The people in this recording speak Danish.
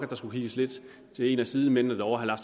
der skulle kigges lidt til en af sidemændene derovre herre